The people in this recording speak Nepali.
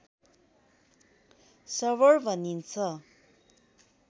सर्भर भनिन्छ